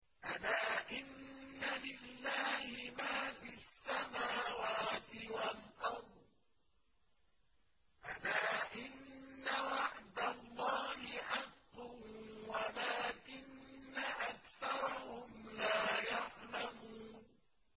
أَلَا إِنَّ لِلَّهِ مَا فِي السَّمَاوَاتِ وَالْأَرْضِ ۗ أَلَا إِنَّ وَعْدَ اللَّهِ حَقٌّ وَلَٰكِنَّ أَكْثَرَهُمْ لَا يَعْلَمُونَ